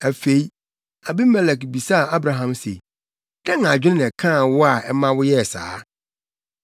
Afei, Abimelek bisaa Abraham se, “Dɛn adwene na ɛkaa wo a ɛma woyɛɛ saa?”